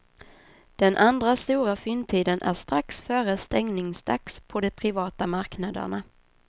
Den andra stora fyndtiden är strax före stängningsdags på de privata marknaderna.